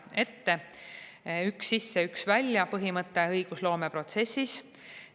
Esiteks, põhimõte "üks sisse, üks välja" õigusloomeprotsessis.